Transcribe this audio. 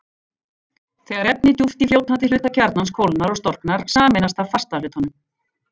Þegar efni djúpt í fljótandi hluta kjarnans kólnar og storknar, sameinast það fasta hlutanum.